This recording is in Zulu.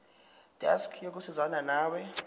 desk yokusizana nawe